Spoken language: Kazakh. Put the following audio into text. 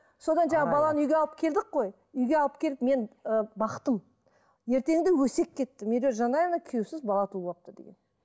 содан жаңа баланы үйге алып келдік қой үйге алып келіп мен ы бақтым ертеңде өсек кетті медеу жанаева күйеусіз бала туып алыпты деген